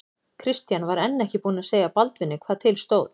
Christian var enn ekki búinn að segja Baldvini hvað til stóð.